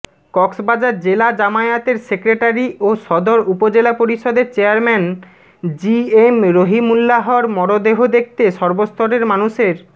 কক্সবাজার জেলা জামায়াতের সেক্রেটারী ও সদর উপজেলা পরিষদের চেয়ারম্যান জিএম রহিমুল্লাহর মরদেহ দেখতে সর্বস্তরের মানুষের